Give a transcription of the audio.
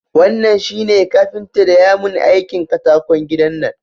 Wannan shi ne kafinta daya mun aikin katakon gidan nan